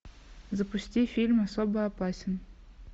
запусти фильм особо опасен